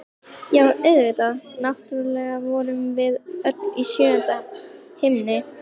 Já, auðvitað, náttúrlega vorum við öll í sjöunda himni!